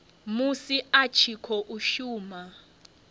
musi a tshi khou shuma